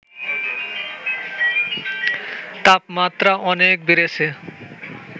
তাপমাত্রা অনেক বেড়েছে